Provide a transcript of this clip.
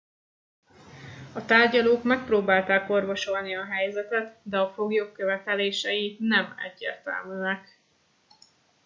a tárgyalók megpróbálták orvosolni a helyzetet de a foglyok követelései nem egyértelműek